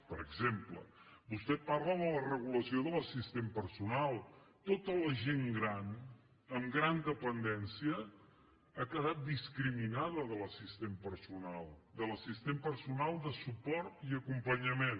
per exemple vostè parla de la regulació de l’assistent personal tota la gent gran amb gran dependència ha quedat discriminada de l’assistent personal de l’assistent personal de suport i acompanyament